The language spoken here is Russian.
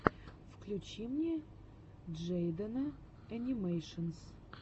включи мне джейдена энимэйшенс